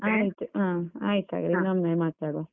ಆಯ್ತು ಹ, ಆಯ್ತು ಹಾಗಾದ್ರೆ ಇನ್ನೊಮ್ಮೆ ಮಾತಾಡುವ.